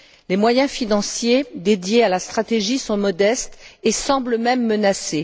Les moyens financiers consacrés à la stratégie sont modestes et semblent même menacés.